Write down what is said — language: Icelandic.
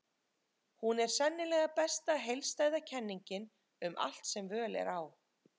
Hún er sennilega besta heildstæða kenningin um allt sem völ er á.